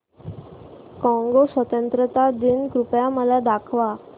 Congo स्वतंत्रता दिन कृपया मला दाखवा